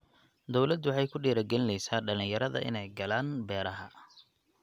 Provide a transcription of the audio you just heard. Dawladdu waxay ku dhiirigelinaysaa dhalinyarada inay galaan beeraha.